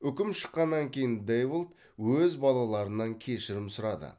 үкім шыққаннан кейін дэйволт өз балаларынан кешірім сұрады